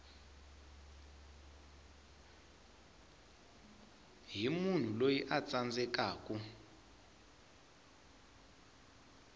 hi munhu loyi a tsandzekaku